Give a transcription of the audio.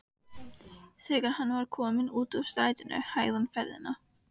Þegar hann var kominn út úr strætinu hægði hann ferðina.